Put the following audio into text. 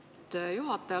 Lugupeetud juhataja!